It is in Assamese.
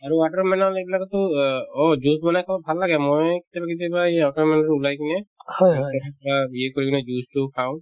আৰু watermelon এইবিলাকৰতো অ অ juice বনাই খাব ভাল লাগে মই কেতিয়াবা কেতিয়াবা এই watermelon তো ওলাই কিনে অ তোমাৰ কৰি কিনে juice তো খাওঁ